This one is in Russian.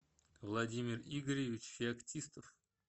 владимир игоревич феоктистов